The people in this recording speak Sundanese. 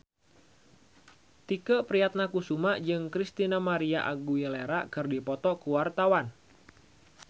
Tike Priatnakusuma jeung Christina María Aguilera keur dipoto ku wartawan